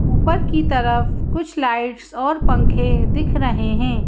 ऊपर की तरफ कुछ लाइट्स और पंखे दिख रहे हैं।